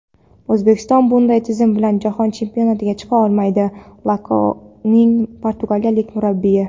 O‘zbekiston bunday tizim bilan Jahon chempionatiga chiqa olmaydi – "Loko"ning portugaliyalik murabbiyi.